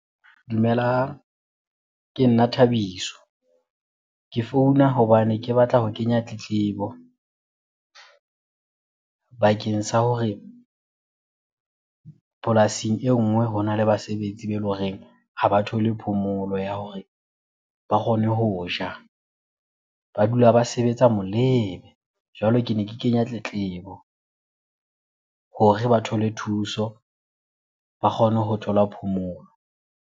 Dumelang, ke nna Thabiso. Ke founa hobane ke batla ho kenya tletlebo bakeng sa hore polasing e nngwe hona le basebetsi be ele horeng ha ba thole phomolo ya hore ba kgone ho ja. Ba dula ba sebetsa molebe. Jwale kene ke kenya tletlebo hore ba thole thuso, ba kgone ho thola phomolo.